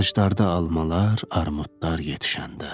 Ağaclarda almalar, armudlar yetişəndə.